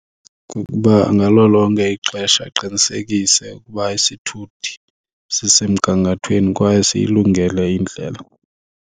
Kukuba ngalo lonke ixesha aqinisekise ukuba isithuthi sisemgangathweni kwaye siyilungele indlela.